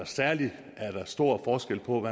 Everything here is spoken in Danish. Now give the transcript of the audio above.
særlig er der stor forskel på